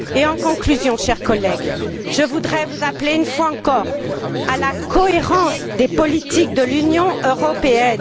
En conclusion, chers collègues, je voudrais vous appeler, une fois encore, à veiller à la cohérence des politiques de l'Union européenne.